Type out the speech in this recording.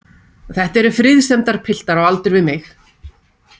Þetta eru friðsemdarpiltar á aldur við mig.